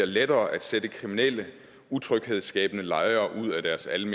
lettere at sætte kriminelle og utryghedsskabende lejere ud af deres almene